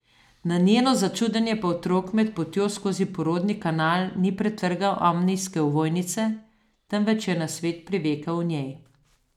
Na njeno začudenje pa otrok med potjo skozi porodni kanal ni pretrgal amnijske ovojnice, temveč je na svet privekal v njej.